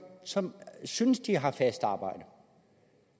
som synes de har fast arbejde